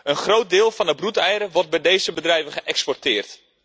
Een groot deel van de broedeieren wordt bij deze bedrijven geëxporteerd.